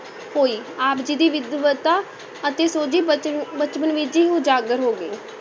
ਹੋਈ, ਆਪ ਜੀ ਦੀ ਵਿਦਵਤਾ ਅਤੇ ਸੋਝੀ ਬਚ~ ਬਚਪਨ ਵਿੱਚ ਹੀ ਉਜਾਗਰ ਹੋ ਗਈ।